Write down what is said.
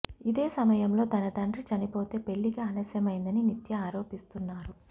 ఇదే సమయంలో తన తండ్రి చనిపోతే పెళ్లికి ఆలస్యమైందని నిత్య ఆరోపిస్తున్నారు